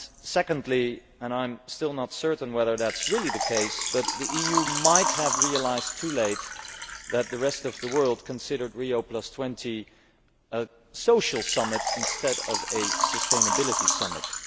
Secondly and I am still not certain whether this is really the case the EU might have realised too late that the rest of the world considered Rio20 a social summit instead of a sustainability summit.